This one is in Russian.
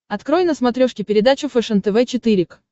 открой на смотрешке передачу фэшен тв четыре к